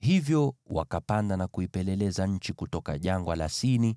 Hivyo wakapanda na kuipeleleza nchi kutoka Jangwa la Sini